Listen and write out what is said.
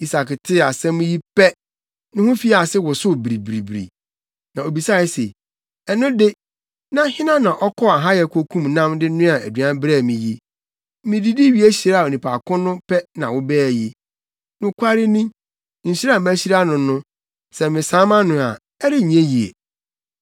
Isak tee saa asɛm yi pɛ, ne ho fii ase wosow biribiribiri, na obisae se, “Ɛno de, na hena na ɔkɔɔ ahayɛ kokum nam de noaa aduan brɛɛ me yi. Mididi wie hyiraa onipa ko no pɛ na wobaa yi. Nokware ni, nhyira a mahyira no no, sɛ mesan mʼano a, ɛrenyɛ yiye!”